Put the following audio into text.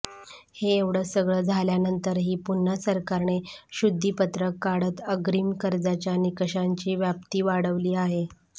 हे एवढं सगळं झाल्यानंतरही पुन्हा सरकारने शुद्धिपत्रक काढत अग्रिम कर्जाच्या निकषांची व्याप्ती वाढवली आहे